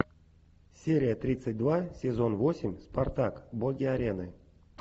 серия тридцать два сезон восемь спартак боги арены